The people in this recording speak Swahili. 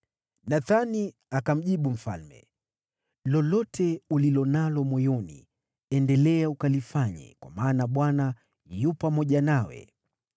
Nathani akamjibu mfalme, “Lolote ulilo nalo moyoni, endelea ukalifanye, kwa maana Bwana yu pamoja nawe.”